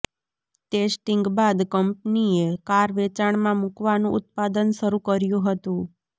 testing બાદ કંપનીએ car વેચાણમાં મૂકવાનું ઉત્પાદન શરૂ કર્યું હતું